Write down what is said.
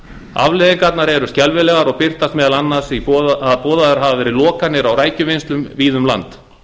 afleiðingarnar eru skelfilegar og birtast meðal annars í því að boðaðar hafa verið lokanir á rækjuvinnslum víða um land